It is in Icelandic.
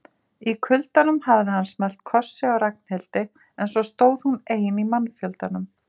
Í kuldanum hafði hann smellt kossi á Ragnhildi en svo stóð hún ein í mannfjöldanum.